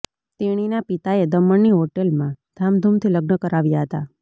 તેણીના પિતાએ દમણની હોટલમાં ધામધૂમથી લગ્ન કરાવ્યા હતા